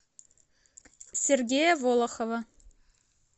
сергея волохова